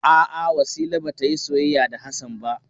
A'a Wasila ba ta yi soyayya da Hassan ba.